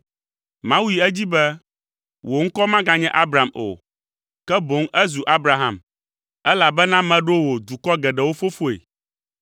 Mawu yi edzi be, “Wò ŋkɔ maganye Abram o, ke boŋ ezu Abraham, elabena meɖo wò dukɔ geɖewo fofoe.